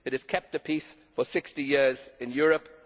It has kept the peace for 60 years in Europe.